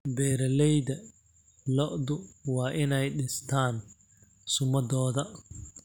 Beeralayda lo'du waa inay dhistaan ??sumaddooda.